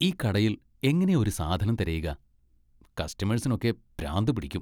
ഈ കടയിൽ എങ്ങനെയാ ഒരു സാധനം തിരയുക? കസ്റ്റമേഴ്സിനൊക്കെ പ്രാന്ത് പിടിക്കും.